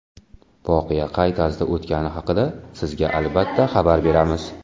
Voqea qay tarzda o‘tgani haqida sizga albatta xabar beramiz!